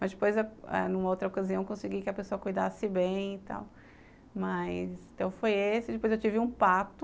Mas ãh depois, ãh numa outra ocasião, eu consegui que a pessoa cuidasse bem e tal, mas, então foi esse, depois eu tive um pato